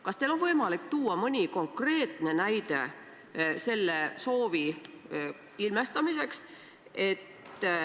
Kas teil on võimalik tuua mõni konkreetne näide selle soovi ilmestamiseks?